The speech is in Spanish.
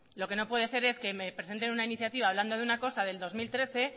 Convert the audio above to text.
lo que no puede ser es que me presenten una iniciativa hablando de una cosa del dos mil trece